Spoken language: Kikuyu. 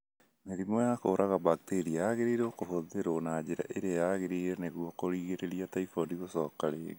Mĩrimũ ya kũraga bakteria yagĩrĩirũo kũhũthĩrũo na njĩra ĩrĩa yagĩrĩire nĩguo kũrigĩrĩria typhoid gucoka rĩngĩ.